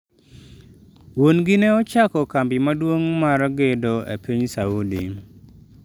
Wuon-gi ne ochako kambi maduong' mar gedo e piny Saudi.